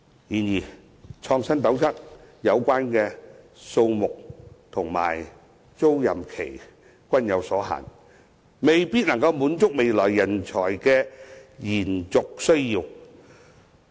然而，"創新斗室"的數目和租賃期均有限制，未必可以滿足未來人才的延續需要。